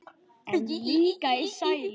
En líka sælu.